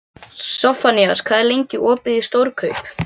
Sophanías, hvað er lengi opið í Stórkaup?